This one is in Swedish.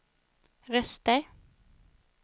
röster